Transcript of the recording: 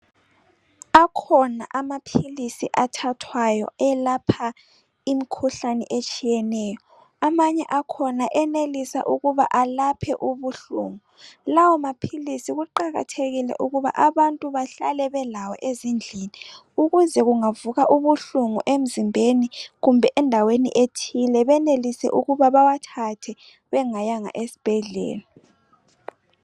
Akhona amapills athathwayo ayelapha imikhuhlane etshiyeneyo amanye akhona ayenelisa ukubuna alaphe ubuhlungu lawo mapills kuqakathekile ukuthi abantu bahlale belawo ezindlini ukuze kungavuka ubuhlungu emzimbeni kumbe endaweni ethile benelise ukubana bewathathe bengayanga esibhedlela